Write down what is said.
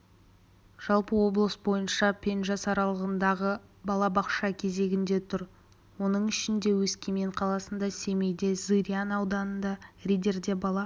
жалпы облыс бойынша пен жас аралығындағы бала балабақша кезегінде тұр оның ішінде өскемен қаласында семейде зырян ауданында риддерде бала